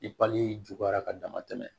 I pali juguyara ka dama tɛmɛ